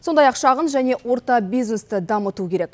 сондай ақ шағын және орта бизнесті дамыту керек